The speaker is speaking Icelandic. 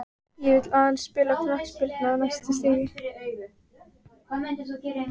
Ég vill aðeins spila knattspyrnu á hæsta stigi.